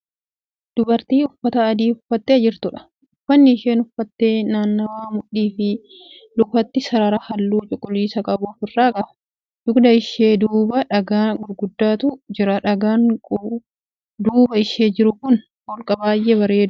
Dubartii uffata adii uffattee jirtudha. uffanni isheen uffatte naannawa mudhiifi lukaatii sarara halluu cuquliisa qabu ofirraa qaba. dugda ishee duuba dhagaan gurguddaatu Jira dhagaan duuba ishee jiru kun holqa baay'ee bareeddu qaba.